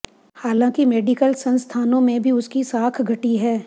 हालांकि मेडिकल संस्थानों में भी उसकी साख घटी है